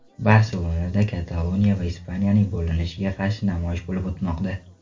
Barselonada Kataloniya va Ispaniyaning bo‘linishiga qarshi namoyish bo‘lib o‘tmoqda.